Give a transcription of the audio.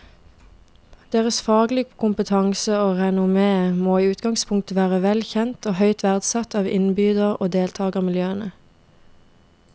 Deres faglige kompetanse og renommé må i utgangspunktet være vel kjent og høyt verdsatt av innbyder og deltagermiljøene.